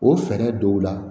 O fɛɛrɛ dɔw la